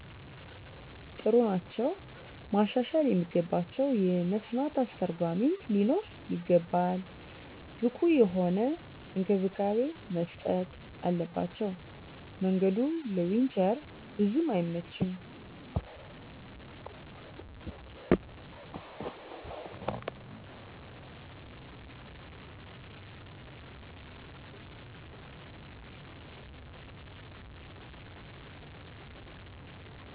ጥሩ ናቸዉ። ማሻሻል የሚገባቸዉ የመስማት አስተርጎሚ ሊኖር ይገባል። ብቁ የሆነ እንክብካቤ መስጠት አለባቸዉ። መንገዱ ለዊንቸር ቡዙም አይመችም።